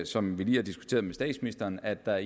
som vi lige har diskuteret med statsministeren at der